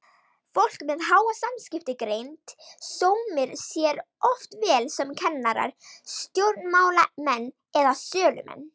Fólk með háa samskiptagreind sómir sér oft vel sem kennarar, stjórnmálamenn eða sölumenn.